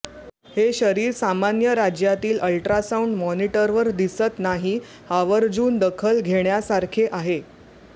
हे शरीर सामान्य राज्यातील अल्ट्रासाऊंड मॉनिटरवर दिसत नाही आवर्जून दखल घेण्यासारखे आहे